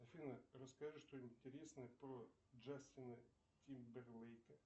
афина расскажи что нибудь интересное про джастина тимберлейка